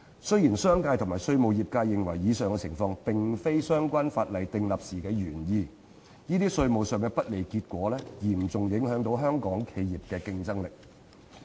雖然商界及稅務業界認為上述情況並非相關法例訂立時的原意，但這些稅務上的不利結果嚴重影響到香港企業的競爭力。